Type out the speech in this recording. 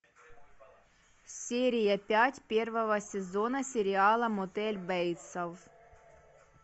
серия пять первого сезона сериала мотель бейтсов